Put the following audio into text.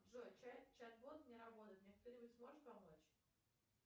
джой чат бот не работает мне кто нибудь сможет помочь